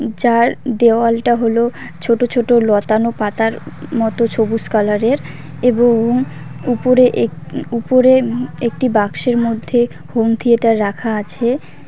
যার দেওয়ালটা হল ছোট ছোট লতানো পাতার মতো ছবুস কালারের এবং উপরে এক উপরে একটি বাক্সের মধ্যে হোম থিয়েটার রাখা আছে।